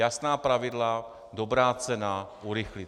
Jasná pravidla, dobrá cena - urychlí.